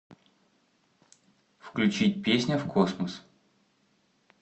включить песня в космос